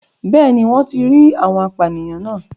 Bẹ́ẹ̀ni wọ́n ti rí àwọn apànìyàn náà